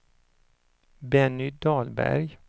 Benny Dahlberg